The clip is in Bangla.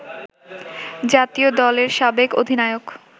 জাতীয় দলের সাবেক অধিনায়ক